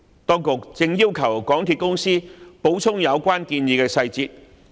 當局正要求港鐵公司補充有關建議的細節。